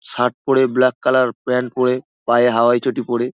Shirt পরে black colour pant পরে পায়ে হাওয়াই চটি পরে।